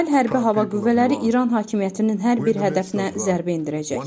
İsrail hərbi hava qüvvələri İran hakimiyyətinin hər bir hədəfinə zərbə endirəcək.